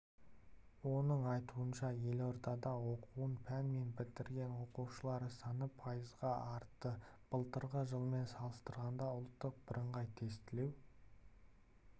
оның айтуынша елордада оқуын пен бітірген оқушылар саны пайызға артты былтырғы жылмен салыстырғанда ұлттық бірыңғай тестілеу